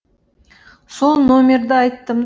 сол номерді айттым